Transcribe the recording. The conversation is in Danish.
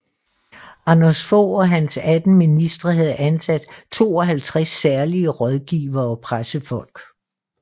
Anders Fogh og hans 18 ministre havde ansat 52 særlige rådgivere og pressefolk